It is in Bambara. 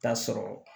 Taa sɔrɔ